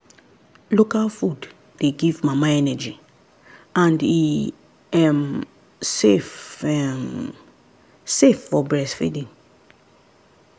local food dey give mama energy and e um safe um safe for breastfeeding.